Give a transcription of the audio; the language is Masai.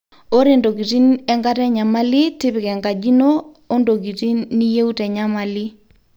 ore ntokitin enkata enyamali tipika enkaji ino ondokitin niyieu te nyamali